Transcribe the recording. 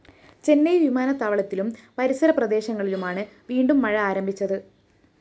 ചെന്നൈ വിമാനത്താവളത്തിലും പരിസര പ്രദേശങ്ങളിലുമാണ് വീണ്ടും മഴ ആരംഭിച്ചത്